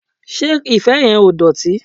Ṣé ife yẹn ò dọ̀tí?